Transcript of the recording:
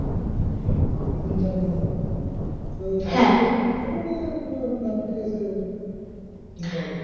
তিন চার দিনের মধ্যে তো এসে দিয়ে যাবে না তোর ওখানে bank থেকে এসে নিতে হবে?